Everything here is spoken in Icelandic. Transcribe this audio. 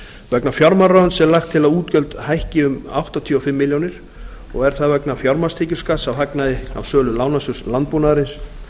vegna fjármálaráðuneytisins er lagt til að útgjöld hækki um áttatíu og fimm milljónir og er það vegna fjármagnstekjuskatts á hagnaði á sölu lánasjóðs landbúnaðarins